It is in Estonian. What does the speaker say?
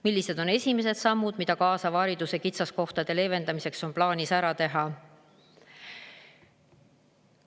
Millised on esimesed sammud, mida kaasava hariduse kitsaskohtade leevendamiseks on plaanis ära teha?